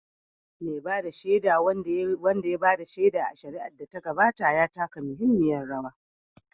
Mai ba da shaida, wanda ya ba da shaida a shari'ar da ta gabata, ya taka muhimmiyar rawa